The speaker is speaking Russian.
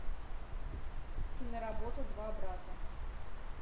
киноработа два брата